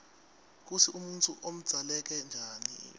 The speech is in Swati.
kutsi umuntfu udzaleke njani